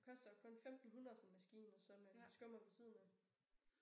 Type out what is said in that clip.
Koster kun 1500 sådan en maskine og så med en skummer ved siden af